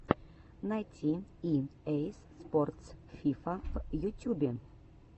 найти и эй спортс фифа в ютюбе